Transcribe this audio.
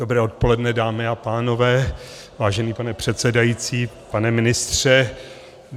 Dobré odpoledne, dámy a pánové, vážený pane předsedající, pane ministře.